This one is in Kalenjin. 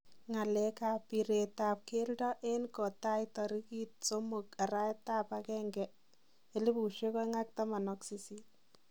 Ng'aleek ab bireet ab keldo en kotai tarikiit 03.01.2018